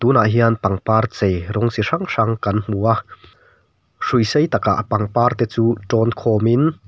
tuna hian pangpar chei rawng chi hrang hrang kan hmu a hrui sei tak ah pangpar te chu tawn khawm in--